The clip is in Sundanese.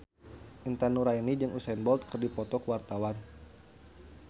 Intan Nuraini jeung Usain Bolt keur dipoto ku wartawan